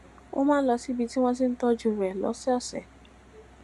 ó máa ń lọ síbi tí wón ti ń tójú rè lósòòsè